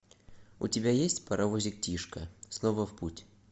у тебя есть паровозик тишка снова в путь